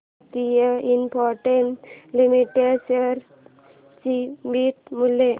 Bharti Infratel limited share चे beta मूल्य